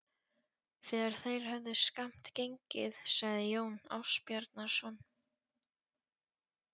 Þegar þeir höfðu skammt gengið sagði Jón Ásbjarnarson